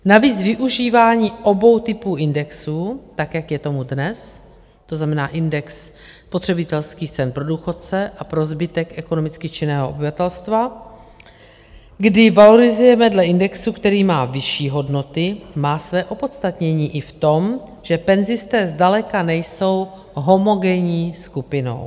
Navíc využívání obou typů indexu, tak jak je tomu dnes, to znamená index spotřebitelských cen pro důchodce a pro zbytek ekonomicky činného obyvatelstva, kdy valorizujeme dle indexu, který má vyšší hodnoty, má své opodstatnění i v tom, že penzisté zdaleka nejsou homogenní skupinou.